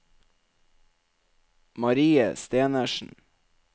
Marie Stenersen